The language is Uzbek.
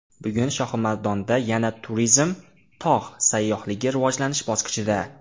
Bugun Shohimardonda yana turizm, tog‘ sayyohligi rivojlanish bosqichida.